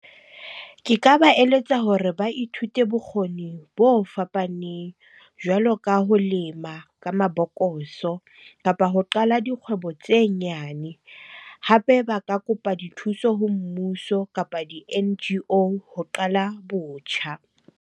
Ke ka ba eletsa hore ba ithute bokgoni bo fapaneng jwalo ka ho lema ka mabokoso, kapa ho qala dikgwebo tse nyane. Hape ba ka kopa dithuso ho mmuso kapa di-N_G_O ho qala botjha.